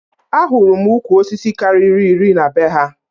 Ahụru m ukwu osisi karịrị iri na be ha